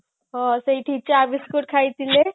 ହଁ ସେଇଠି ଚା biscuit ଖାଇଥିଲେ